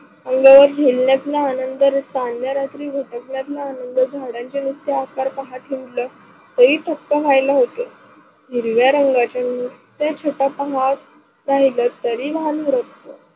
उन्याळ्यात खेळण्यातला आनंद, चांदण्या रात्री व सोपनात्ल आनंद, झाडाच्या नुस्त आकार पहाठ उठल हेई थक्क व्हायला होत. हिरव्या रंगाच्या नुसत्या छोट्या पहाड राहील तरी भान हरपत